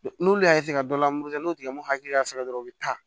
N'olu y'a ka dɔ la muru ta n'o tigilamɔgɔ hakili y'a sɔrɔ dɔrɔn u bɛ taa